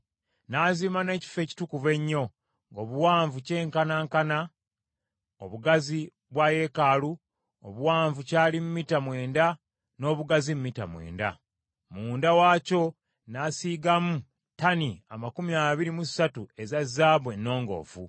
N’azimba n’Ekifo Ekitukuvu Ennyo, ng’obuwanvu kyenkanankana obugazi bwa yeekaalu, obuwanvu kyali mita mwenda n’obugazi mita mwenda. Munda waakyo n’asiigamu ttani amakumi abiri mu ssatu eza zaabu ennongoofu.